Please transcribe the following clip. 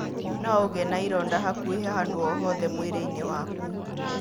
No ũgĩe na ironda hakuhĩ handũ o hothe mwĩrĩ-nĩ waku.